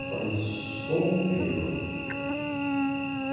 Eu falei solteiro.